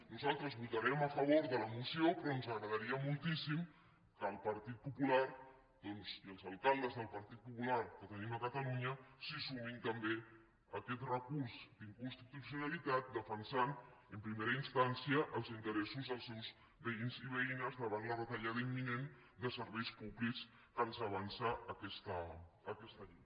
nosaltres votarem a favor de la moció però ens agradaria moltíssim que el partit popular i els alcaldes del partit popular que tenim a catalunya s’hi sumessin també a aquest recurs d’inconstitucionalitat defensant en primera instància els interessos dels seus veïns i veïnes davant la retallada imminent de serveis públics que ens avança aquesta llei